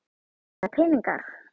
Eða peningar?